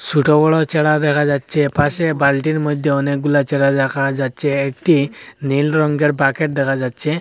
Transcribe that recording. ছোট বড়ো চারা দেখা যাচ্ছে পাশে বালটির মধ্যে অনেকগুলা চারা দেখা যাচ্ছে একটি নীল রঙ্গের বাকেট দেখা যাচ্ছে।